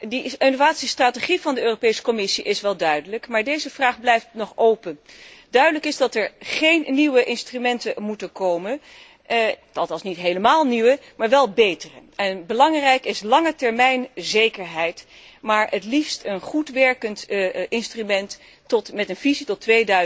De innovatiestrategie van de Commissie is wel duidelijk, maar deze vraag blijft nog open. Duidelijk is dat er geen nieuwe instrumenten moeten komen, althans niet helemaal nieuwe, maar wel betere. Belangrijk is langetermijnzekerheid, maar het liefst hebben we een goed werkend instrument met een visie tot